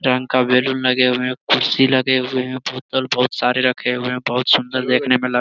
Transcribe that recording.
रंग का बैलून लगे हुए हैं। कुर्सी लगे हुए हैं । बोतल बहुत सारे रखे हुए हैं। बहुत सुंदर देखने में लग --